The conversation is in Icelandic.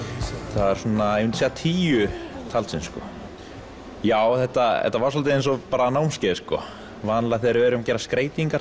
það er svona ég myndi segja tíu talsins já þetta þetta var dálítið eins og námskeið sko vanalega þegar við erum að gera skreytingar